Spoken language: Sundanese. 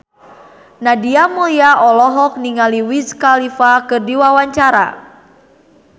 Nadia Mulya olohok ningali Wiz Khalifa keur diwawancara